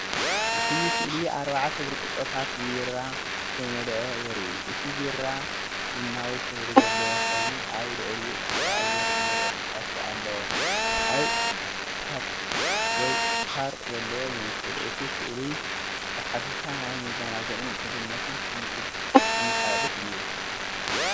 እቲ ስእሊ ኣርባዕተ ብርጭቆታት ብቢራ ዝተመልአ የርኢ። እቲ ቢራ ቡናዊ ሕብሪ ዘለዎ ኮይኑ ኣብ ልዕሊኡ ጻዕዳ ኣየር ዝመልኦ ፈሳሲ ኣለዎ። ኣብ ፓብ ወይ ባር ዘሎ ይመስል። እቲ ስእሊ ብሓፈሻ ናይ ምዝንጋዕን ምሕዝነትን ስምዒት ዘመሓላልፍ እዩ።